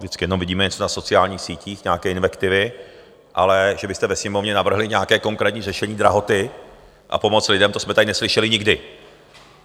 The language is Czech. Vždycky jenom vidíme něco na sociálních sítích, nějaké invektivy, ale že byste ve Sněmovně navrhli nějaké konkrétní řešení drahoty a pomoc lidem, to jsme tady neslyšeli nikdy.